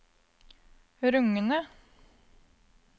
rungende